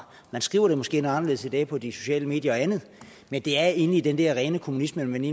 man skriver det måske noget anderledes i dag på de sociale medier og andet men det er egentlig den der rene kommunisme man